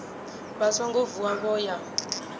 vha songo vuwa vho ya